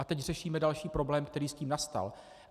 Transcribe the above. A teď řešíme další problém, který s tím nastal.